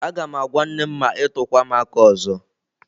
Agam agwa nnem ma i tukwa m aka ozo.